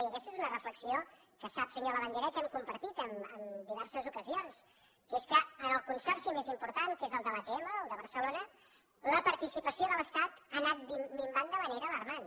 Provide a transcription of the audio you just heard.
i aquesta és una reflexió que sap senyor labandera que hem compartit en diverses ocasions que és que en el consorci més important que és el de l’atm el de barcelona la participació de l’estat ha anat minvant de manera alarmant